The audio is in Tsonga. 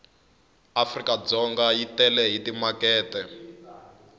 afrikadzonga yi tele hi timakete